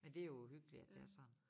Men det jo uhyggeligt at det er sådan